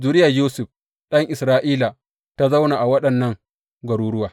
Zuriyar Yusuf ɗan Isra’ila ta zauna a waɗannan garuruwa.